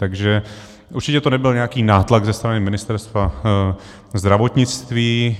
Takže určitě to nebyl nějaký nátlak ze strany Ministerstva zdravotnictví.